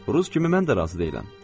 Rus kimi mən də razı deyiləm.